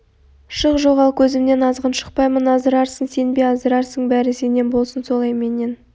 шық жоғал көзмнен азғын шықпаймын аздырарсың сен бе аздырарсың бәрі сенен болсын солай менен